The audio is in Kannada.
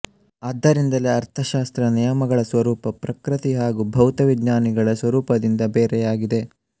ಆದ್ದರಿಂದಲೇ ಅರ್ಥಶಾಸ್ತ್ರದ ನಿಯಮಗಳ ಸ್ವರೂಪ ಪ್ರಕೃತಿ ಹಾಗೂ ಭೌತವಿಜ್ಞಾನಿಗಳ ಸ್ವರೂಪದಿಂದ ಬೇರೆಯಾಗಿದೆ